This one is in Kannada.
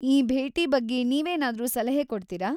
ಈ ಭೇಟಿ ಬಗ್ಗೆ ನೀವೇನಾದ್ರೂ ಸಲಹೆ ಕೊಡ್ತೀರಾ?